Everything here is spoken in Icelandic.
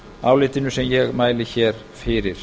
álitinu sem ég mæli hér fyrir